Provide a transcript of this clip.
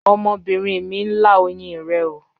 Ọmọbinrin mi n la oyin rẹ ooo